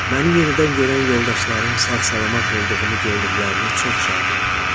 Məni yenidən görən yoldaşlarım sağ-salamat olduğumu gördüklərinə çox şad idilər.